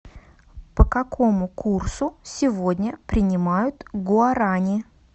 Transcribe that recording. по какому курсу сегодня принимают гуарани